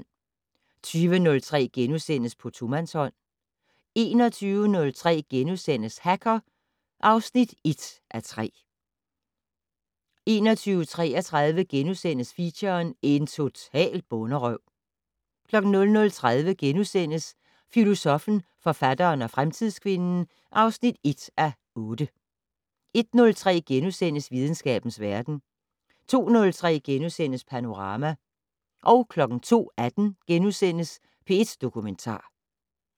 20:03: På tomandshånd * 21:03: Hacker (1:3)* 21:33: Feature: En total bonderøv * 00:30: Filosoffen, forfatteren og fremtidskvinden (1:8)* 01:03: Videnskabens verden * 02:03: Panorama * 02:18: P1 Dokumentar *